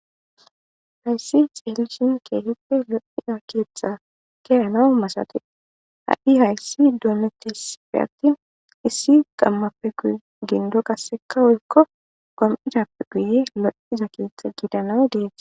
Hayssi xeelishin keefippe lo'iza keeththa keyanawu masate ha'i hayssi duonetisapfe attin issi gammappe guye gindo qasseka woykko gom'idappe guye lo'iza keeththa gidanawe dees.